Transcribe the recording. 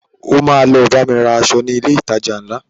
O ma lọ bámi ra aṣọ ní ilé ìtajà ńlá